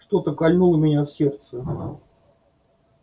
что-то кольнуло меня в сердце